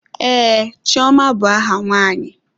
Ee, Chioma bụ aha nwaanyị.